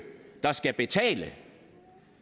der skal betale